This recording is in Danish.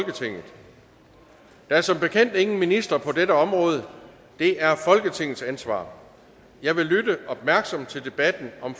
der er som bekendt ingen minister på dette område det er folketingets ansvar jeg vil lytte opmærksomt til debatten om